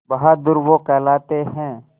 बहादुर वो कहलाते हैं